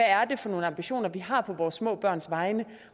er for nogle ambitioner vi har på vores små børns vegne